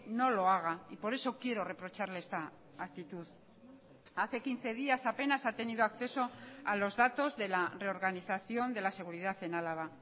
no lo haga y por eso quiero reprocharle esta actitud hace quince días apenas ha tenido acceso a los datos de la reorganización de la seguridad en álava